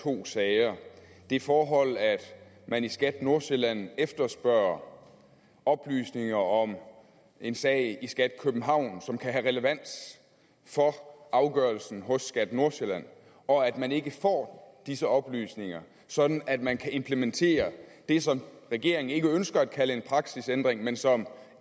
to sager og det forhold at man i skat nordsjælland efterspørger oplysninger om en sag i skat københavn som kan have relevans for afgørelsen hos skat nordsjælland og at man ikke får disse oplysninger sådan at man kan implementere det som regeringen ikke ønsker at kalde en praksisændring men som